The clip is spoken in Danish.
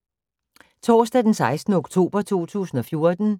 Torsdag d. 16. oktober 2014